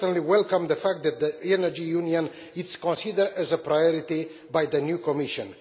welcome the fact that the Energy Union is considered as a priority by the new Commission.